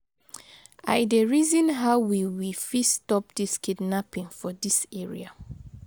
I dey reason how we we fit stop dis kidnapping for dis area.